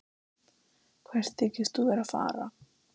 Hvert þykist þú vera að fara?